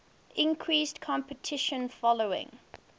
increased competition following